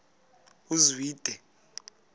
uzwide